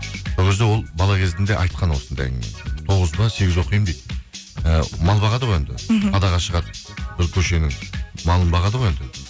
сол кезде ол бала кезімде айтқан осындай әңгімені тоғыз ба сегіз оқимын дейді ы мал бағады ғой енді мхм далаға шығарып бір көшенің малын бағады ғой енді